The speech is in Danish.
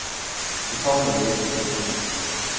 Nu kommer du vel ikke de steder.